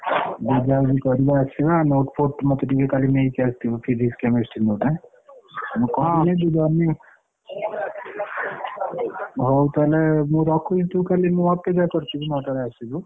ବୁଝାବୁଝି କରିବାର ଅଛି ନା note ଫୋଟ ମୋତେ ଟିକେ କାଲି ନେଇକି ଆସିବୁ Physics ।